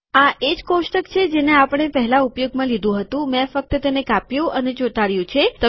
આ એજ કોષ્ટક છે જેને આપણે પહેલા ઉપયોગમાં લીધું હતું મેં ફક્ત તેને કાપ્યું અને ચોંટાડ્યુ છે